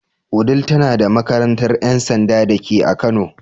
Wudil tana da makarantar ‘yan sanda dake a kano.